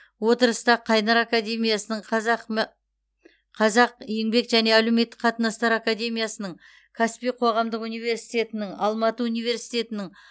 отырыста қайнар академиясының қазақ еңбек және әлеуметтік қатынастар академиясының каспий қоғамдық университетінің алматы университетінің